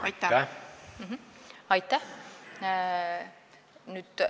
Aitäh!